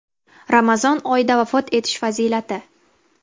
Ramazon oyida vafot etish fazilati.